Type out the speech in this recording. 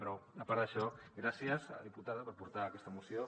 però a part d’això gràcies a la diputada per portar aquesta moció